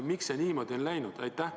Miks see niimoodi on läinud?